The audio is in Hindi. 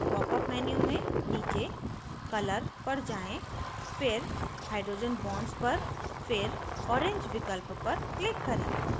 popअप menu में नीचे color पर जाएँ फिर hydrogen bonds पर फिर orange विकल्प पर click करें